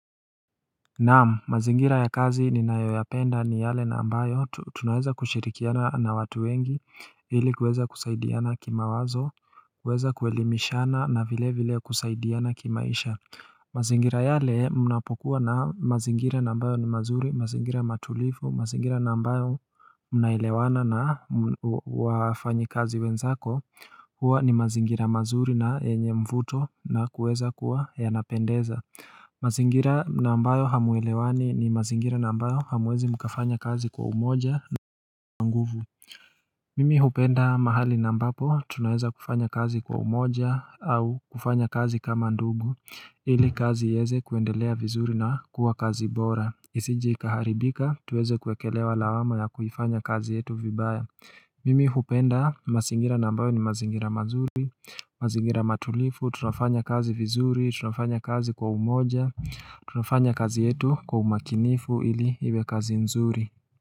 Naam mazingira ya kazi ni nayoyapenda ni yale nambayo tunaweza kushirikiana na watu wengi hili kuweza kusaidiana kimawazo kuweza kuelimishana na vile vile kusaidiana kimaisha mazingira yale mnapokuwa na mazingira nambayo ni mazuri mazingira matulifu mazingira nambayo mnailewana na wafanyikazi wenzako huwa ni mazingira mazuri na yenye mvuto na kuweza kuwa yanapendeza mazingira nambayo hamwelewani ni mazingira nambayo hamwezi mkafanya kazi kwa umoja na nguvu Mimi hupenda mahali nambapo tunaweza kufanya kazi kwa umoja au kufanya kazi kama ndugu ili kazi yeze kuendelea vizuri na kuwa kazi bora Isije ikaharibika tuweze kuekelewa lawama ya kufanya kazi yetu vibaya Mimi hupenda masingira nambayo ni mazingira mazuri mazingira matulifu, tunafanya kazi vizuri, tunafanya kazi kwa umoja tunafanya kazi yetu kwa umakinifu ili iwe kazi nzuri.